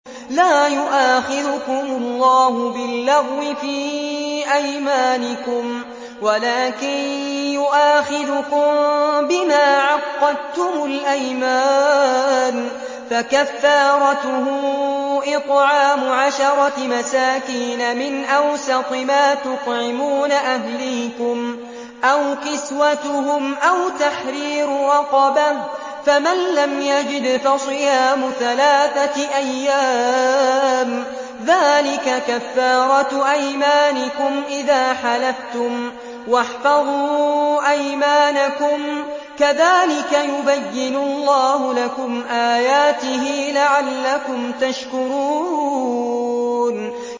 لَا يُؤَاخِذُكُمُ اللَّهُ بِاللَّغْوِ فِي أَيْمَانِكُمْ وَلَٰكِن يُؤَاخِذُكُم بِمَا عَقَّدتُّمُ الْأَيْمَانَ ۖ فَكَفَّارَتُهُ إِطْعَامُ عَشَرَةِ مَسَاكِينَ مِنْ أَوْسَطِ مَا تُطْعِمُونَ أَهْلِيكُمْ أَوْ كِسْوَتُهُمْ أَوْ تَحْرِيرُ رَقَبَةٍ ۖ فَمَن لَّمْ يَجِدْ فَصِيَامُ ثَلَاثَةِ أَيَّامٍ ۚ ذَٰلِكَ كَفَّارَةُ أَيْمَانِكُمْ إِذَا حَلَفْتُمْ ۚ وَاحْفَظُوا أَيْمَانَكُمْ ۚ كَذَٰلِكَ يُبَيِّنُ اللَّهُ لَكُمْ آيَاتِهِ لَعَلَّكُمْ تَشْكُرُونَ